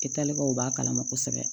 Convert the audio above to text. E terikɛw b'a kalama kosɛbɛ